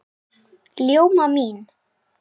Ljóma mín!